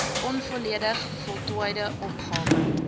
onvolledig voltooide opgawe